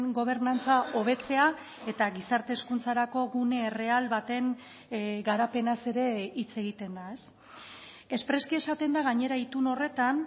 gobernantza hobetzea eta gizarte hezkuntzarako gune erreal baten garapenaz ere hitz egiten da espreski esaten da gainera itun horretan